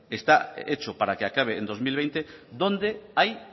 está hecho para que acabe en dos mil veinte donde hay